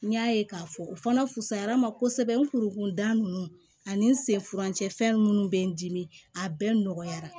N y'a ye k'a fɔ o fana fusayara n ma kosɛbɛ nk da ninnu ani n sen furancɛ fɛn minnu bɛ n dimi a bɛɛ nɔgɔyara